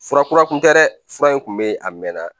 Fura kura kun tɛ dɛ fura in kun be yen a mɛn na